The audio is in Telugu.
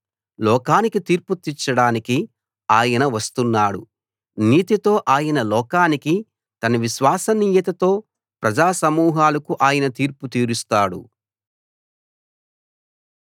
లోకానికి తీర్పు తీర్చడానికి ఆయన వస్తున్నాడు నీతితో ఆయన లోకానికి తన విశ్వసనీయతతో ప్రజా సమూహాలకు ఆయన తీర్పు తీరుస్తాడు